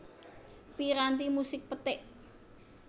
Piranti musik petik